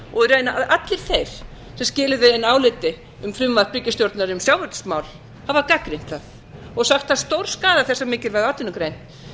og raunar allir þeir sem skiluðu inn áliti um frumvarp ríkisstjórnar um sjávarútvegsmál hafa gagnrýnt það og sagt það stórskaða þessa mikilvægu atvinnugrein